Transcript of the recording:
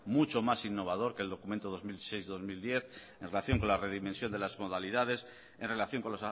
mucho más innovador que el documento dos mil seis dos mil diez en relación con la redimensión de las modalidades en relación con